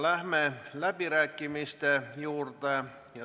Läheme läbirääkimiste juurde.